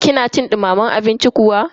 kina cin dumamen abinci kuwa?